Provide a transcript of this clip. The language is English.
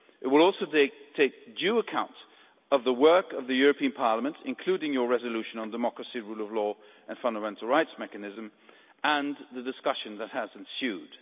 It will also take due account of the work of the European Parliament, including your resolution on democracy, the rule of law and fundamental rights mechanism, and the discussion that has ensued.